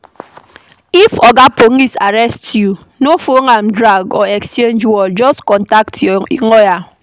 If oga police arrest you, no follow am drag or exchange word, just contact your lawyer